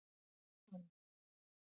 Allt hans.